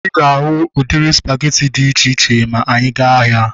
Ịga ahu udiri spageti dị iche iche ma ịga ahia